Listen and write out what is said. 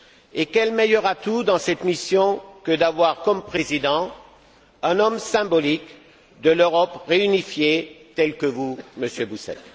Et quel meilleur atout dans cette mission que d'avoir comme président un homme symbolique de l'Europe réunifiée, tel que vous, Monsieur Buzek.